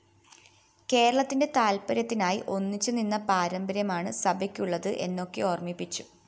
കേരളത്തിന്റെ താല്പര്യത്തിനായി ഒന്നിച്ചുനിന്ന പാരമ്പര്യമാണ് സഭയ്ക്കുള്ളത് എന്നൊക്കെ ഓര്‍മ്മിപ്പിച്ചു